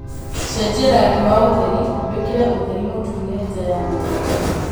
cejia rangi wa utheri wīkire utheri mutune nja ya nyūmba